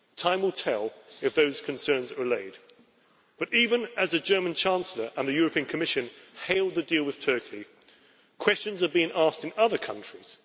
Time will tell if those concerns are allayed. But even as the German Chancellor and the European Commission hailed the deal with Turkey, questions are being asked in other countries.